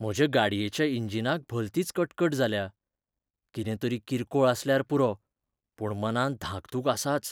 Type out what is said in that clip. म्हजे गाडयेच्या इंजिनाक भलतीच कटकट जाल्या. कितें तरी किरकोळ आसल्यार पुरो, पूण मनांत धाकधूक आसाच .